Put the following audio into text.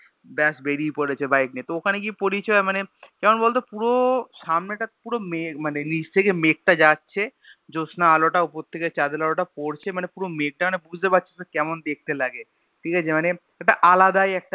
ব্যাস বেরিয়ে পড়েছি বাইক নিয়ে তো তো ওখানে গিয়ে পরিচয় হয় মানে, কেমন বলতো পুরো সামনেটা পুরো মানে নিচ থেকে মেঘটা যাচ্ছে, জ্যোৎস্না আলোটা উপর থেকে চাঁদের আলোটা টা পরছে মানে পুরো মেঘটা টা মানে বুঝতে পাচ্ছিস কেমন দেখতে লাগে ঠিক আছে মানে একটা আলাদাই একটা